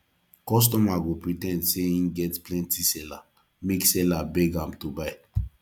kostomer go pre ten d sey en get plenty seller make seller beg am to buy